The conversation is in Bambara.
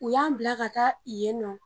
U y'an bila ka taa yen nɔ.